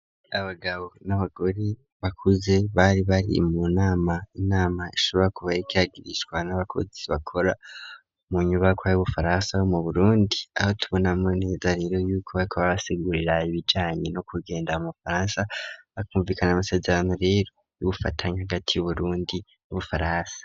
Abagabo n'abagore bakuze bari bari mu nama, inama ishobora kuba yariko iragirishwa n'abakozi bakora mu nyubakwa y'Ubufaransa yo mu Burundi, aho tubonamwo neza rero y'uko bariko barabasigurira ibijanye no kugenda mu Bufaransa, bakumvikana amasezerano rero y'ubufatanye hagati y'Uburundi n'Ubufaransa.